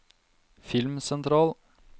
filmsentral